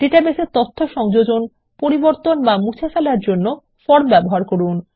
ডাটাবেসে তথ্য সংযোজন পরিবর্তন অথবা মুছে ফেলার জন্য ফর্ম ব্যবহার করুন